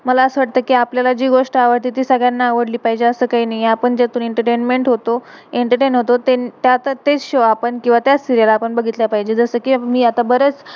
मला असा वाटतं कि, मला आपल्याला जी गोष्ठ आवडते, ती सगळ्याना आवडली पाहिजे. असं कही नाहीये, आपण जो पर्यंत एंटरटेनमेंट entertainment होतो, एंटरटेन entertain होतो, तेन~त्या प्रतेक्ष आणि, त्याच सीरियल serial आपण बघितल्या पाहिजे. जसं कि मी अता